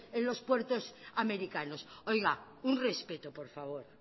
en los puertos americanos oiga un respeto por favor